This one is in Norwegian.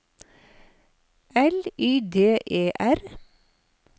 L Y D E R